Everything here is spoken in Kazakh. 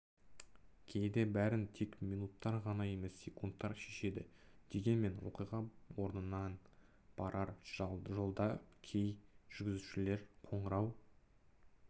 кейде бәрін тек минуттар ғана емес секундар шешеді дегенмен оқиға орынына барар жолда кей жүргізушілер қоңырау